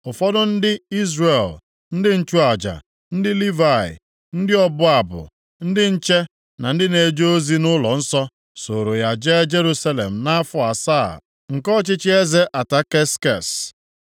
Ụfọdụ ndị Izrel, ndị nchụaja, ndị Livayị, ndị ọbụ abụ, ndị nche na ndị na-eje ozi nʼụlọnsọ, soro ya jee Jerusalem nʼafọ asaa nke ọchịchị eze Ataksekses.